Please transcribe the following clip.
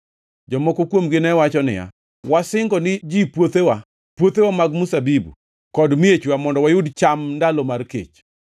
Jomoko kuomgi ne wacho niya, “Wasingo ni ji puothewa, puothewa mag mzabibu, kod miechwa mondo wayud cham ndalo mar kech.”